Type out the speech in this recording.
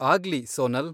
ಆಗ್ಲಿ, ಸೋನಲ್.